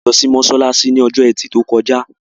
A lọ sí mósálásí ní ọjọ́ ẹtì tó kọjá